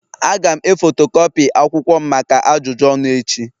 Aga'm e fotokopii akwụkwọ m maka ajụjụ ọnụ echi